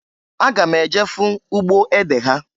Aga m eje fụ ugbo ede ha.